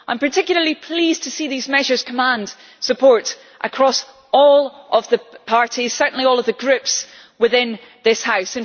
I am particularly pleased to see these measures command support across all of the parties certainly all of the Groups within this House.